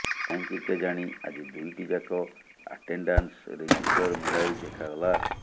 କାହିଁକି କେଜାଣି ଆଜି ଦୁଇଟି ଯାକ ଆଟେଣ୍ଡାନ୍ସ ରେଜିଷ୍ଟର ମିଳାଇ ଦେଖାଗଲା